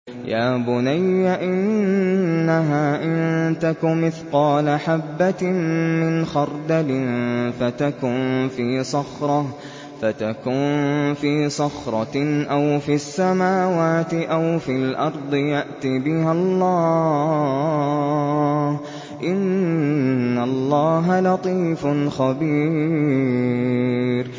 يَا بُنَيَّ إِنَّهَا إِن تَكُ مِثْقَالَ حَبَّةٍ مِّنْ خَرْدَلٍ فَتَكُن فِي صَخْرَةٍ أَوْ فِي السَّمَاوَاتِ أَوْ فِي الْأَرْضِ يَأْتِ بِهَا اللَّهُ ۚ إِنَّ اللَّهَ لَطِيفٌ خَبِيرٌ